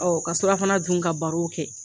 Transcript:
Ɔ ka surafana dun ka baro kɛ!